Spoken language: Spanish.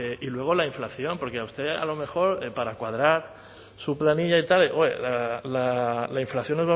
y luego la inflación porque a usted a lo mejor para cuadrar su planilla y tal la inflación